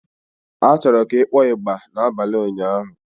A chọrọ ka ị kpọọ ịgbà n'abalị ụnyaahụ.